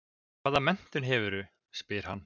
Hvaða menntun hefurðu, spyr hann.